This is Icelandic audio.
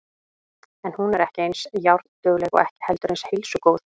En hún er ekki eins járndugleg og ekki heldur eins heilsugóð.